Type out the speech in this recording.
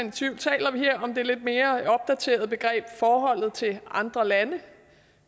i tvivl taler vi her om det lidt mere opdaterede begreb forholdet til andre lande